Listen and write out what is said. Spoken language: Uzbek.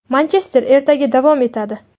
Manchester ertagi davom etadi.